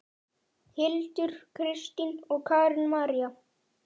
Hildur, Kristín og Karen María.